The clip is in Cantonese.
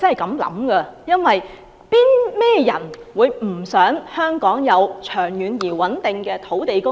甚麼人不想香港有長遠而穩定的土地供應？